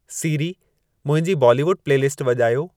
सीरी मुंहिंजी बॉलीवुड प्लेलिस्ट वॼायो